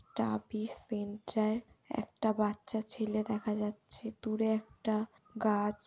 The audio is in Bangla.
টাবিস সেন্টার একটা বাচ্চা ছেলে দেখা যাচ্ছে দূরে একটা গাছ।